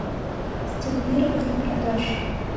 стимулирование продаж